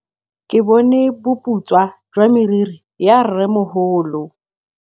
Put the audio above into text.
Ke bone boputswa jwa meriri ya rrêmogolo.